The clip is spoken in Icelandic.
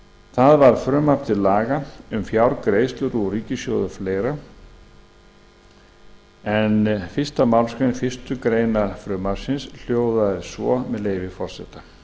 það var frumvarp til laga um fjárgreiðslur úr ríkissjóði og fleiri en fyrstu málsgrein fyrstu grein frumvarpsins hljóðaði svo með leyfi forseta